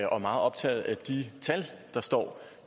og meget optaget af de tal der står